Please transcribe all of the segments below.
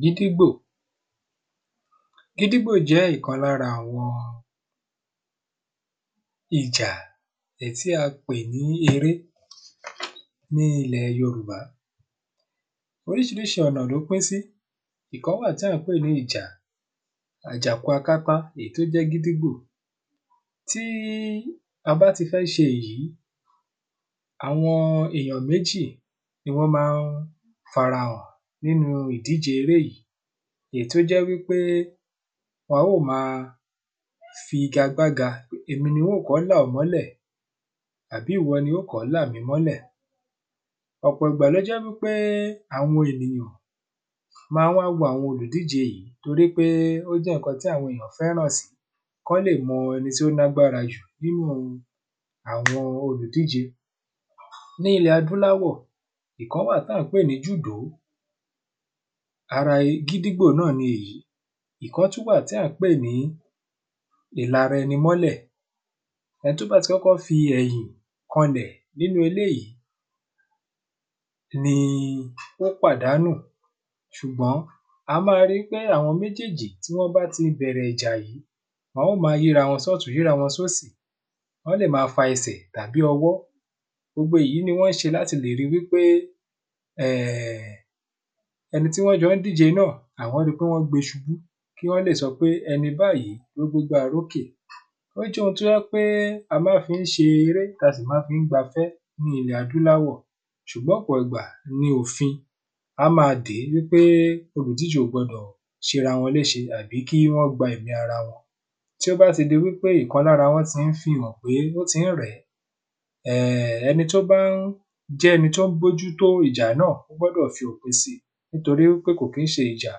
gídígbò, gídígbò jẹ́ ǹkan lára àwọn ìjà tí a pè ní eré ní ilẹ̀ yorùbá oríṣiríṣi ọ̀nà ló pín sí, ìkan wà tá ń pè ní ìjà àjàkúakátá èyí tó jẹ́ kídígbò tí a bá ti fẹ́ ṣe èyí àwọn èèyàn méjì ni wọ́n máa ń fara hàn nínú ìdíje eré yìí èyí tó jẹ́ wípé a ó máa fi igbakágba èmi ni oò kọ́ là ọ́ mọ́lẹ̀ àbí ìwọ ni óò kọ́ là mí mọ́lẹ̀ ọ̀pọ̀ ìgbà ló jẹ́ wípé àwọn ènìyàn máa ń wá wo àwọn olùdíje yìí torí pé ó jẹ́ ǹkan táwọn ènìyàn fẹ́ràn sí kán lè mọ ẹni tó lágbára jù nínu àwọn olùdíje ní ilẹ̀ adúláwọ̀ ǹkan wà tá ń pè ní júdòó ara kídígbò náà ni èyí ìkan tún wà tí a ń pè ní ìlaraẹnimọ́lẹ̀ ẹni tó bá ti kọ́kọ́ fi ẹ̀yìn kan lẹ̀ nínú eléyìí ni ó pàdánù ṣùgbọ́n a máa ri pé àwọn méjèèjì tí wọ́n bá ti bẹ̀rẹ̀ ìjà yí wọn ó ma yíra wọn sọ́ọ̀tún yíra wọn sósì wọ́n lè máa fa ẹsẹ̀ tàbí ọwọ́ gbogbo èyí ni wọ́n ṣe láti lè rí pé, ẹni tí wọ́n jọ ń díje náà àwọn ri wípé wọ́n gbe ṣubú kí wọ́n lè sọ pé ẹni báyìí ló gbégbá orókè ó jẹ́ ohun tó jẹ́ pé a máa fi ń ṣeré a sì máa fi ń gbafẹ́ ní ilẹ̀ adúláwọ̀ ṣùgbọ́n ọ̀pọ̀ ìgbà ni òfin á máa dèé pé olùdíje kò gbọdọ̀ ṣera wọn léṣe tàbí kí wọn gba ẹ̀mí ara wọn tí ó bá ti di wípé ìkan lára wọn ti ń fihàn pé ó ti ń rẹ̀ẹ́, ẹni tó bá jẹ́ ẹni tó ń bójú tó ìjà náà gbọ́dọ̀ fi òpin si nítorí pé kò kí ń ṣe ìjà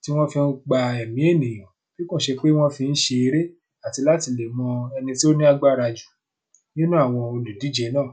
tí wọ́n fi ń gba ẹ̀mí ènìyàn bí kò ṣe pé wọ́n fi ń ṣe eré àti láti lè mọ ẹni tó lágbára jù nínú àwọn olùdíje náà.